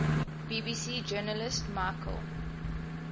bbc journalist michael